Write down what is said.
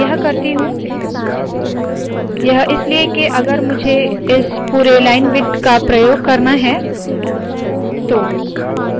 मैं यह करती हूँ यह इसलिए है के अगर मुझे इस पुरे लाइन विड्थ का प्रयोग करना है तो